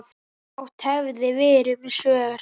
Fátt hefði verið um svör.